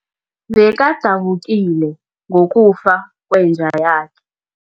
Bekadabukile ngokufa kwenja yakhe.